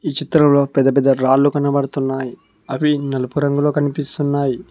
ఈ చిత్రంలో పెద్ద పెద్ద రాళ్లు కనబడుతున్నాయి అవి నలుపు రంగులో కనిపిస్తున్నాయి.